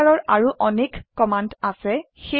এইপ্ৰকাৰৰ আৰু অনেক কমান্ড আছে